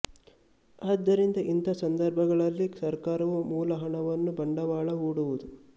ಆದ್ದರಿಂದ ಇಂಥ ಸಂದರ್ಭಗಳಲ್ಲಿ ಸರಕಾರವು ಮೂಲ ಹಣವನ್ನು ಬಂಡವಾಳ ಹೂಡುವುದು